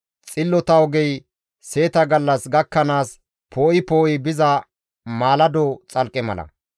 Xillota ogey seeta gallas gakkanaas poo7i poo7i biza mallado xalqqe mala.